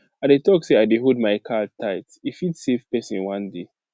i dey talk say i dey hold my card tight e fit save person one day